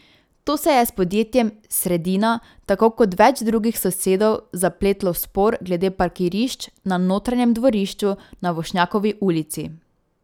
To se je s podjetjem Sredina tako kot več drugih sosedov zapletlo v spor glede parkirišč na notranjem dvorišču na Vošnjakovi ulici.